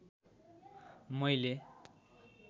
मैले